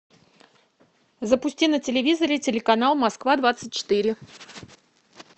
запусти на телевизоре телеканал москва двадцать четыре